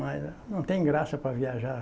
Mas não tem graça para viajar.